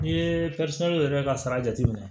N'i ye yɛrɛ ka sara jateminɛ